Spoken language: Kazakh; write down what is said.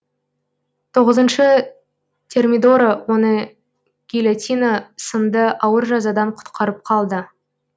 тоғызыншы термидора оны гильотина сынды ауыр жазадан құтқарып қалды